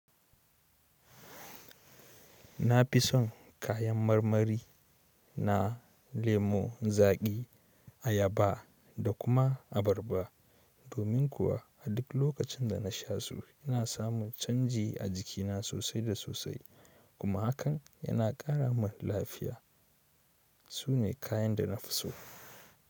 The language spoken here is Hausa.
Na fi son kayan marmari na lemo zaƙi, ayaba da kuma abarba. Domin kuwa a duk lokacin da na sha su ina samu canji a jikina sosai da sosai kuma hakan yana ƙara min lafiya. Su ne kayan da na fi so.